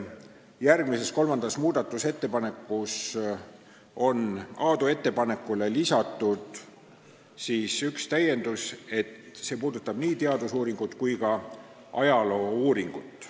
Järgmises, kolmandas muudatusettepanekus on Aadu ettepanekule lisatud üks täiendus, et see puudutab nii teadus- kui ka ajaloouuringut.